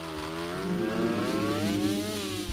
поехали эль рио